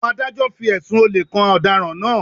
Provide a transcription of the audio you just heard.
Àwọn Adájọ́ fi ẹ̀sùn olè kan ọ̀daràn náà